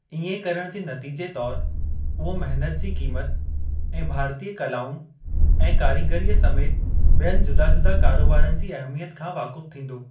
इएं करण जे नतीजे तौर उहो महिनत जी क़ीमत ऐं भारतीय कलाउनि ऐं कारीगरीअ समेति ॿियनि जुदा जुदा कारोबारनि जी अहमियत खां वाकुफ़ थींदो।